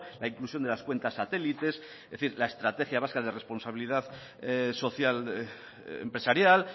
la inclusión de las cuentas satélites es decir la estrategia vasca de responsabilidad social empresarial